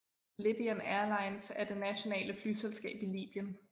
Libyan Airlines er det nationale flyselskab i Libyen